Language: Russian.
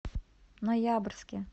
ноябрьске